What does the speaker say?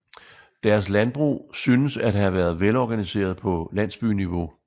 Deres landbrug synes at have været velorganiseret på landsbyniveau